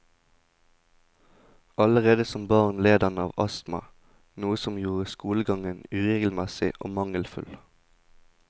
Allerede som barn led han av astma, noe som gjorde skolegangen uregelmessig og mangelfull.